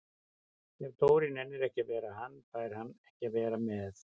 Ef Dóri nennir ekki að vera hann, fær hann ekki að vera með